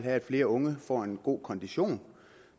at flere unge får god kondition